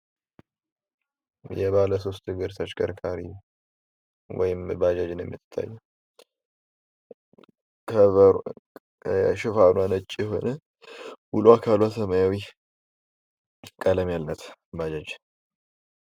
የባለ ሶስት እግር ተሽከርካሪ ወይም ባጃጅ ነው የሚታየው። ሽፋኗ ነጭ የሆነ ሙሉ አካሏ ሰማያዊ ቀለም ያላት ባጃጅ።